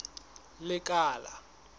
lekala